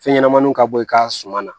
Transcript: Fɛn ɲɛnɛmaninw ka bɔ i ka suman na